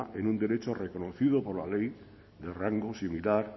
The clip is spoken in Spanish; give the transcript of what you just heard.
en un derecho reconocido por la ley de rango similar